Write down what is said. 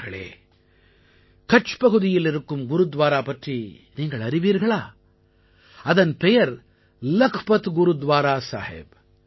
நண்பர்களே கட்ச் பகுதியில் இருக்கும் குருத்வாரா பற்றி நீங்கள் அறிவீர்களா அதன் பெயர் லக்பத் குருத்வாரா சாஹிப்